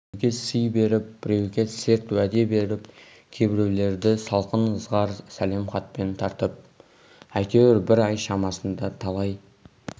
біреуге сый беріп біреуге серт уәде беріп кейбіреулерді салқын ызғар сәлем хатпен тартып әйтеуір бір ай шамасында талай